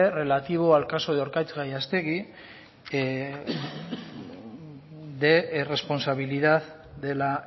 relativo al caso arkaitz gallastegui de responsabilidad de la